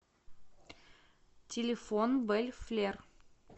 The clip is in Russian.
телефон белль флер